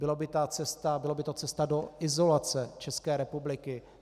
Byla by to cesta do izolace České republiky.